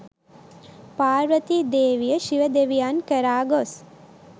පාර්වතී දේවිය ශිව දෙවියන් කරා ගොස්